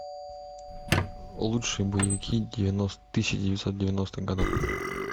лучшие боевики тысяча девятьсот девяностых годов